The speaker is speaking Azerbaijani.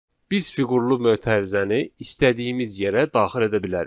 Biz fiqurlu mötərizəni istədiyimiz yerə daxil edə bilərik.